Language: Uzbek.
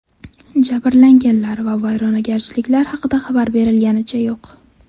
Jabrlanganlar va vayronagarchiliklar haqida xabar berilganicha yo‘q.